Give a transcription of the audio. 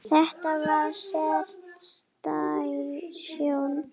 Þetta var sérstæð sjón.